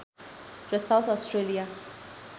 र South Australia